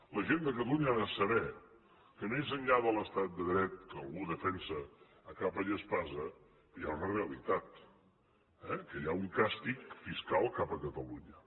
la gent de catalunya ha de saber que més enllà de l’estat de dret que algú defensa a capa i espasa hi ha una realitat eh que hi ha un càstig fiscal cap a catalunya